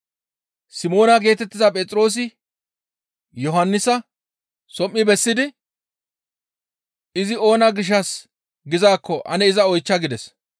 Simoona geetettiza Phexroosi Yohannisa som7i bessidi, «Izi oona gishshas gizaakko ane iza oychcha» gides.